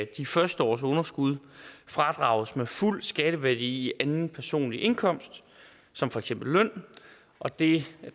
de første års underskud fradrages med fuld skatteværdi i anden personlig indkomst som for eksempel løn og det